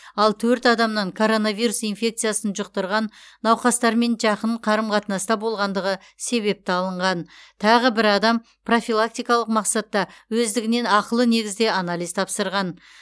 ал төрт адамнан коронавирус инфекциясын жұқтырған науқастармен жақын қарым қатынаста болғандығы себепті алынған тағы бір адам профилактикалық мақсатта өздігінен ақылы негізде анализ тапсырған